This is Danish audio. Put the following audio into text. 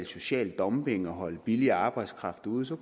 social dumping og holde billig arbejdskraft ude så